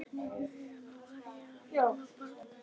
En í huganum var ég allt annað barn.